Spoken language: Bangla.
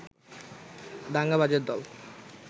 দাঙ্গাবাজের দল